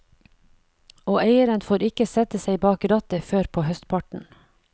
Og eieren får ikke sette seg bak rattet før på høstparten.